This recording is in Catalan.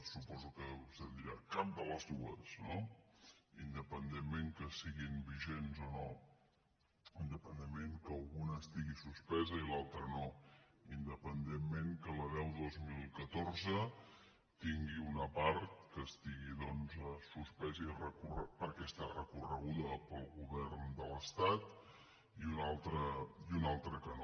suposo que vostè deurà dir cap de les dues no independentment que siguin vigents o no inde·pendentment que una estigui suspesa i l’altra no in·dependentment que la deu dos mil catorze tingui una part que es·tigui suspesa perquè hi ha recorregut el govern de l’estat i l’altra no